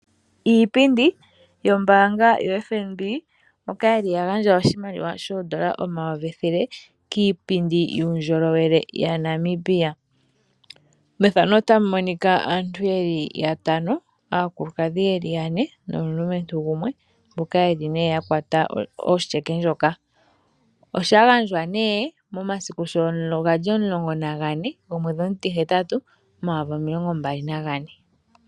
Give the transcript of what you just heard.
Iipindi yombaanga yoFNB mbyoka yili ya gandja oshimaliwa shoodolla omayovi ethele kiipindi yuundjolowele yaNamibia. Methano otamu monika aantu yeli yatano, aakulukadhi yeli yane nomulumentu gumwe mboka yeli nee yakwata otyeke ndjoka. Osha gandjwa nee momasiku shono gali omulongo nagane gomweedhi omutihetatu omayovu omilongo mbali nagane.